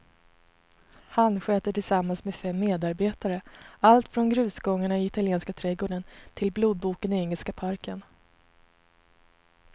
Han sköter tillsammans med fem medarbetare allt från grusgångarna i italienska trädgården till blodboken i engelska parken.